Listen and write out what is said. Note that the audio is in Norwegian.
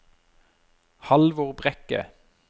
Halvor Brekke